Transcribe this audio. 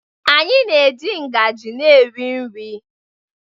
anyị na-eji ngaji na-eri nri